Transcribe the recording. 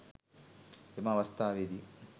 එම අවස්ථාවේදී